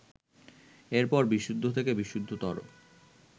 এরপর বিশুদ্ধ থেকে বিশুদ্ধতর